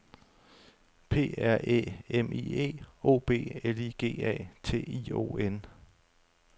P R Æ M I E O B L I G A T I O N